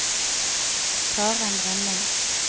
Karen Rønning